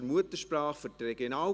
Christoph Bürki prête serment.